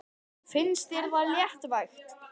Finnst þér það léttvægt?